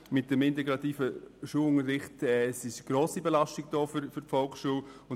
Mit dem integrativen Unterricht besteht eine grosse Belastung der Volksschulen.